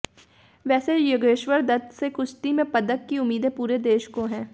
वैसे योगेश्वर दत्त से कुश्ती में पदक की उम्मीदें पूरे देश को हैं